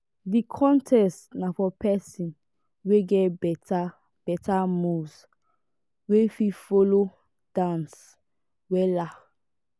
di contest na for pesin wey get beta beta moves wey fit folo dance wella.